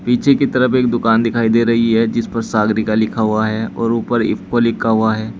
पीछे की तरफ एक दुकान दिखाई दे रही है जिस पर सागरिका लिखा हुआ है और ऊपर इफको लिखा हुआ है।